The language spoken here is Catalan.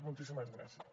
moltíssimes gràcies